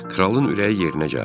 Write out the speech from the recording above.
Kralın ürəyi yerinə gəldi.